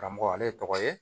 Karamɔgɔ ale ye tɔgɔ ye